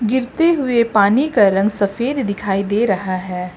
गिरते हुए पानी का रंग सफेद दिखाई दे रहा है।